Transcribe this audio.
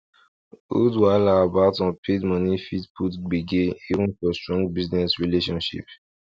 old wahala about unpaid money fit put gbege even for strong business relationship